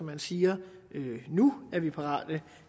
man siger nu er vi parate